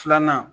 Filanan